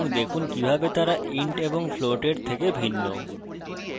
দেখুন কিভাবে তারা int এবং float এর থেকে ভিন্ন